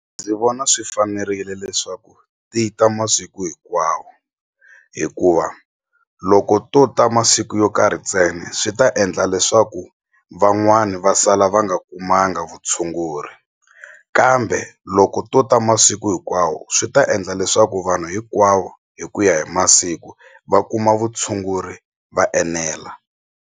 Ndzi vona swi fanerile leswaku ti ta masiku hinkwawo hikuva loko to ta masiku yo karhi ntsena swi ta endla leswaku van'wani va sala va nga a kumanga vutshunguri kambe loko to ta masiku hinkwawo swi ta endla leswaku vanhu hinkwavo hi ku ya hi masiku va kuma vutshunguri va enela.